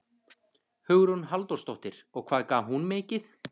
Hugrún Halldórsdóttir: Og hvað gaf hún mikið?